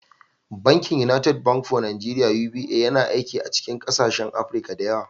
Bankin United Bank for Africa (UBA) yana aiki a cikin ƙasashen Afirka da yawa.